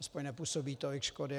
Aspoň nepůsobí tolik škody.